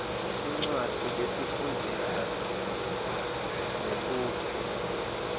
tincwadzi letifundzisa ngebuve